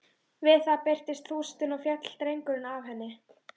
Við það byltist þústin og féll drengurinn af henni.